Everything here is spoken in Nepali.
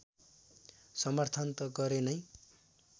समर्थन त गरे नै